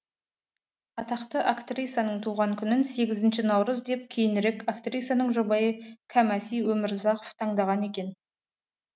атақты актрисаның туған күнін сегізінші наурыз деп кейінірек актрисаның жұбайы кәмәси өмірзақов таңдаған екен